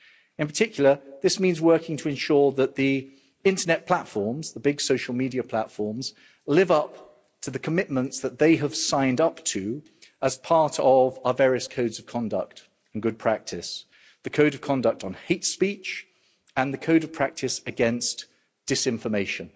In particular, this means working to ensure that the internet platforms, the big social media platforms, live up to the commitments that they have signed up to as part of our various codes of conduct and good practice, the Code of Conduct on Hate Speech and the Code of Practice against Disinformation.